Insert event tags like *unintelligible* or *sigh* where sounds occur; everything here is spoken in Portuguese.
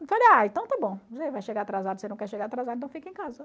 Eu falei, ah, então tá bom, *unintelligible* vai chegar atrasado, você não quer chegar atrasado, então fica em casa.